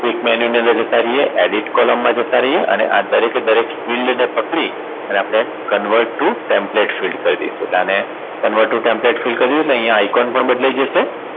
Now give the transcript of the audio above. click menu ની અંદર જતા રહીએ Edit column માં જતા રહીયે અને આ દરેકે દરેક field ને પકડી ને આપણે Convert to template field કરી દઈશું એટલે આને Convert to template field એટલે અહીંયા Icon પણ બદલાય જશે